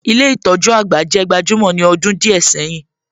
Ilé ìtójú àgbà jẹ́ gbajúmọ̀ ní ọdún díẹ̀ sẹ́yìn.